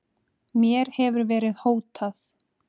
Mér hefur verið hótað